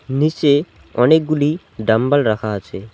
নীচে অনেকগুলি ডাম্বেল রাখা আছে।